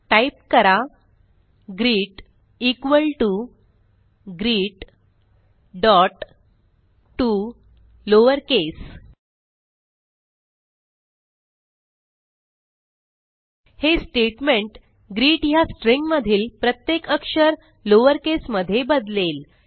type करा greet equal T O greettoLowerCase हे statement greet ह्या स्ट्रिंग मधील प्रत्येक अक्षर लॉवरकेस मध्ये बदलेल